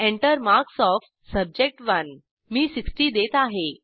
Enter marks of सब्जेक्ट1 मी 60 देत आहे